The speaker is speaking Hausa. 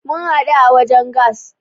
Mun hadu a wajen gas.